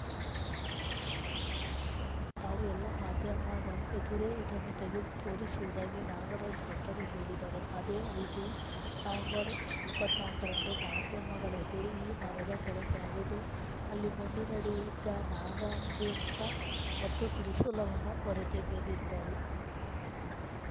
ತಾವು ಎಲ್ಲ ಮಾಧ್ಯಮದ ಎದುರೇ ಇದನ್ನು ತೆಗೆದು ತೋರಿಸುವುದಾಗಿ ನಾಗರಾಜ ಭಟ್ಟರು ಹೇಳಿದ್ದರು ಅದೇ ರೀತಿ ನವೆಂಬರ್ ಇಪ್ಪತ್ತ್ ನಾಲ್ಕು ರಂದು ಮಾಧ್ಯಮಗಳ ಎದುರು ಈ ಮರದ ಕೆಳಗೆ ಅಗೆದು ಅಲ್ಲಿ ಮಣ್ಣಿನಡಿ ಇದ್ದ ನಾಗಂ ಬಿಂಬ ಮತ್ತು ತ್ರಿಶೂಲವನ್ನು ಹೊರತೆಗೆದಿದ್ದರು